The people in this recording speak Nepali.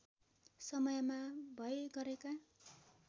समयमा भए गरेका